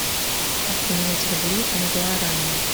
как поменять рубли на гуарани